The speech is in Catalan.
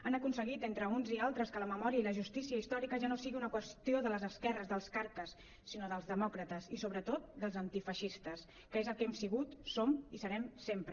han aconseguit entre uns i altres que la memòria i la justícia històrica ja no sigui una qüestió de les esquerres dels carques sinó dels demòcrates i sobretot dels antifeixistes que és el que hem sigut som i serem sempre